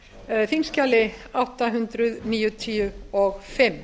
á þingskjali átta hundruð níutíu og fimm